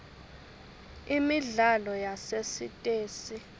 imidlalo yasesitesi